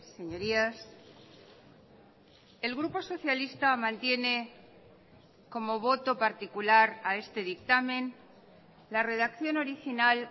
señorías el grupo socialista mantiene como voto particular a este dictamen la redacción original